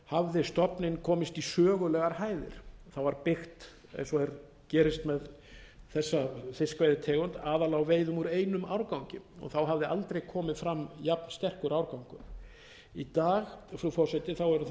hafði stofninn komist í sögulegar hæðir það var byggt eins og gerist með þessa fiskveiðitegund aðallega á veiðum úr einum árgangi hafði aldrei komið fram jafn sterkur árgangur í dag frú forseti eru það